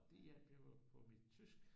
Og det hjalp jo på mit tysk